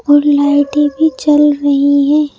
और लाइटी भी चल रही है।